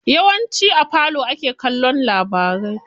Yawanci a falo ake kallon labarai.